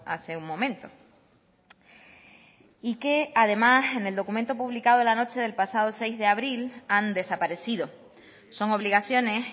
hace un momento y que además en el documento publicado la noche del pasado seis de abril han desaparecido son obligaciones